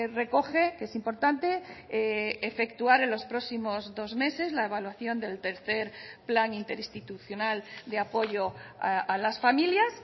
recoge que es importante efectuar en los próximos dos meses la evaluación del tercer plan interinstitucional de apoyo a las familias